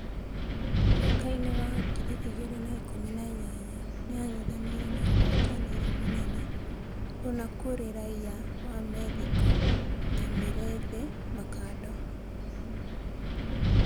Mwakainĩ wa ngiri igĩ rĩ na ikũmi na inyanya, nĩ ang'ethanĩ ire na ũhotanĩ ri mũnene Kuna kurĩ raia wa Methĩ ko Nyamĩ rĩ thi Makando.